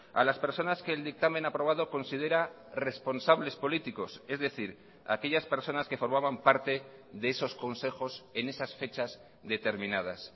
a las personas que el dictamen aprobado considera responsables políticos es decir aquellas personas que formaban parte de esos consejos en esas fechas determinadas